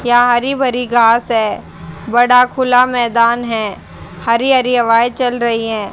यहां हरी भरी घास है बड़ा खुला मैदान है हरी हरी हवाएं चल रही हैं।